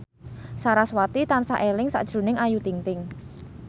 sarasvati tansah eling sakjroning Ayu Ting ting